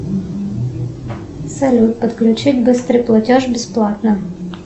салют отключить быстрый платеж бесплатно